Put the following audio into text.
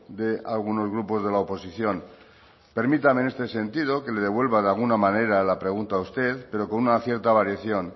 de algunos grupos de la oposición permítame en este sentido que le devuelva de alguna manera la pregunta a usted pero con una cierta variación